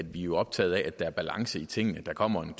jo optaget af at der er balance i tingene der kommer en